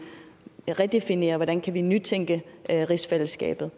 kan redefinere hvordan vi kan nytænke rigsfællesskabet